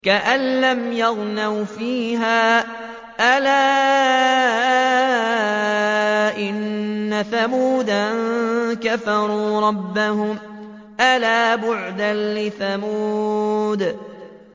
كَأَن لَّمْ يَغْنَوْا فِيهَا ۗ أَلَا إِنَّ ثَمُودَ كَفَرُوا رَبَّهُمْ ۗ أَلَا بُعْدًا لِّثَمُودَ